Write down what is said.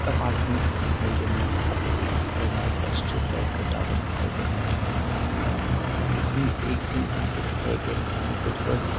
apartments दिखाई दे रहा है जहाँ पे एक बड़ा सा स्ट्रीट लाइट का टावर दिखाई दे रहा है और इसमें एक चीज़ पे दिखाई दे रहा है --